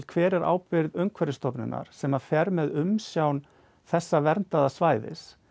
hver er ábyrgð Umhverfisstofnunar sem fer með umsjón þessa verndaða svæðis